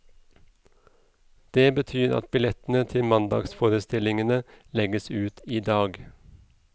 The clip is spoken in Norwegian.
Det betyr at billettene til mandagsforestillingene legges ut i dag.